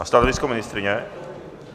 A stanovisko ministryně?